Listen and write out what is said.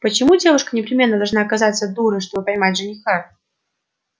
почему девушка непременно должна казаться дурой чтобы поймать жениха